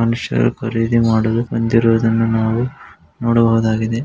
ಮನುಶ್ಯರು ಖರೀದಿ ಮಾಡಲು ಬಂದಿರುವುದು ನಾವು ನೋಡಬಹುದಾಗಿದೆ .